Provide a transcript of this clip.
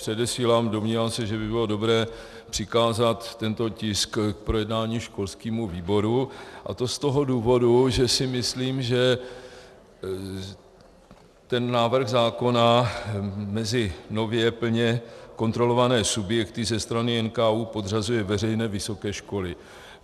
Předesílám, domnívám se, že by bylo dobré přikázat tento tisk k projednání školskému výboru, a to z toho důvodu, že si myslím, že ten návrh zákona mezi nově plně kontrolované subjekty ze strany NKÚ podřazuje veřejné vysoké školy.